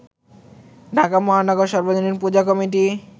ঢাকা মহানগর সর্বজনীন পূজা কমিটি